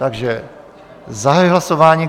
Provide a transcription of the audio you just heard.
Takže zahajuji hlasování.